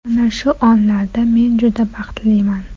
Mana shu onlarda men juda baxtliman.